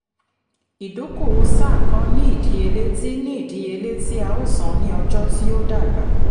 ìdókòwò sáà kan ní ìdíyelé tí ní ìdíyelé tí a ó san ní ọjọ́ tí ó dàgbà.